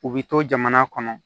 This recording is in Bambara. U bɛ to jamana kɔnɔ